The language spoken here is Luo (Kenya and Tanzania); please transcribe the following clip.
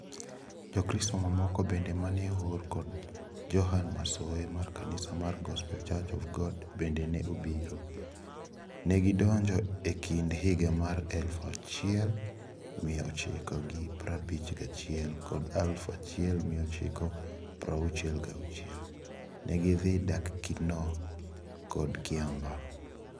Jokristo mamoko bende mane oor kod Johane Masowe mar kanisa mar Gospel Church of God bende ne obiro. Negidonjo e kind higa mar eluf achiel mia ochiko gi prabich gachiel kod eluf achiel mia ochiko prauchiel gi achiel. Negidhi dak Kinoo kod Kiambaa.